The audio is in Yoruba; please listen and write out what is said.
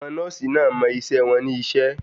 Àwọn nọ́ọ̀sì náà mọ iṣẹ́ wọn ní iṣẹ́.